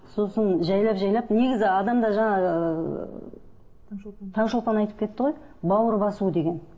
сосын жайлап жайлап негізі адамда жаңа ыыы таңшолпан таңшолпан айтып кетті ғой бауыр басу деген